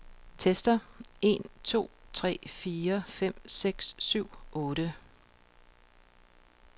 Tester en to tre fire fem seks syv otte.